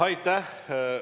Aitäh!